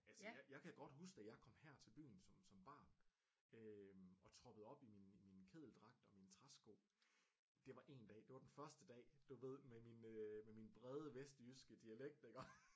Altså jeg kan godt huske da jeg kom her til byen som som barn øh og troppede op i min i min kedeldragt og mine træsko det var en dag det var den første dag du ved med min øh med min brede vestjyske dialekt iggå